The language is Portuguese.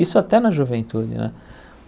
Isso até na juventude, né?